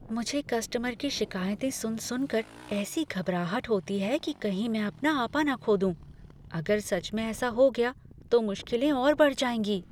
मुझे कस्टमर की शिकायतें सुन सुनकर ऐसी घबराहट होती है कि कही मैं अपना आपा न खो दूँ। अगर सच में ऐसा हो गया तो मुश्किलें और बढ़ जाएँगी।